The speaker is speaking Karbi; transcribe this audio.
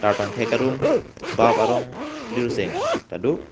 tar pangthek arum bap arong lir seng tado.